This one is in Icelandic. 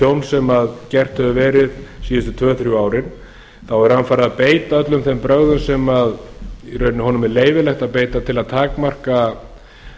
tjóns sem gert hefur verið síðustu tvö þrjú árin er hann farinn að beita öllum þeim brögðum sem honum er í rauninni leyfilegt að beita til að takmarka